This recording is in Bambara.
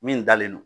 Min dalen don